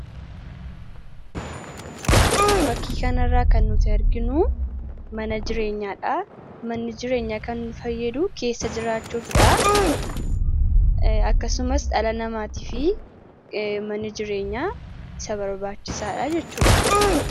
Fakkii kan irraa kan nuti arginuu mana jireenyaadha. Manni jireenyaa kan fayyadu keessa jiraachuufidha. Akkasumas dhala namaatiif manii jireenyaa isa barbaachisaadha jechuudha.